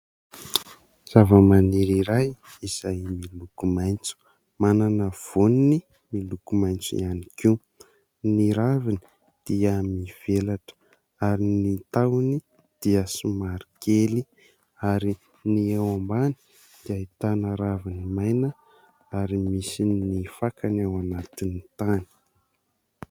Zavamaniry iray izay miloko maitso, manana vôniny miloko maitso ihany koa. Ny raviny dia mivelatra ary ny tahony dia somary kely ary ny eo ambany dia ahitana raviny maina ary misy ny fakany ao anaty ny tany.